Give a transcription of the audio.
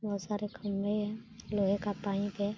बोहोत सारे खम्भे हें लोहे का पाइप है।